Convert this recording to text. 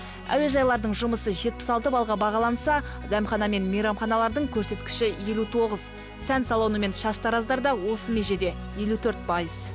әуежайлардың жұмысы жетпіс алты баллға бағаланса дәмхана мен мейрамханалардың көрсеткіші елу тоғыз сән салоны мен шаштараздарда осы межеде елу төрт пайыз